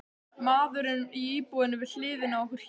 Maðurinn í íbúðinni við hliðina á okkur hét